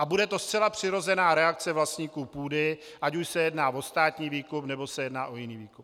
A bude to zcela přirozená reakce vlastníků půdy, ať už se jedná o státní výkup, nebo se jedná o jiný výkup.